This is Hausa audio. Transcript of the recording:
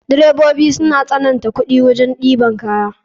Direbobi suna sananta kuɗi wajen ɗeban kaya.